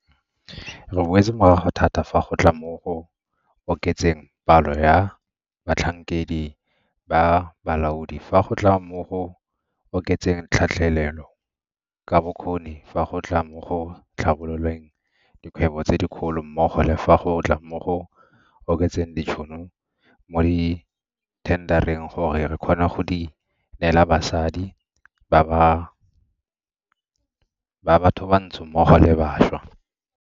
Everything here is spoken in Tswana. Re boetse morago thata fa go tla mo go oketseng palo ya batlhankedi ba balaodi, fa go tla mo go oketseng tlhatlhelelo ka bokgoni, fa go tla mo go tlhabololeng dikgwebo tse dikgolo mmogo le fa go tla mo go oketseng ditšhono mo dithendareng gore re kgone go di neela basadi ba bathobantsho mmogo le bašwa.